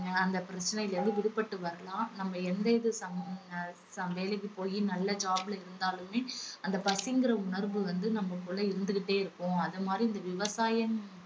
அந்த பிரச்சனையில இருந்து விடுபட்டு வரலாம். நம்ம எந்த இது சம்~ ஆஹ் சம்~ வேலைக்கு போயி நல்ல job ல இருந்தாலுமே அந்த பசிங்கிற உணர்வு வந்து நமக்குள்ள இருந்துகிட்டே இருக்கும். அது மாதிரி இந்த விவசாயம்